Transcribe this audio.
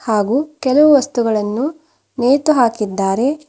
ಹಾಗೂ ಕೆಲವು ವಸ್ತುಗಳನ್ನು ನೇತು ಹಾಕಿದ್ದಾರೆ.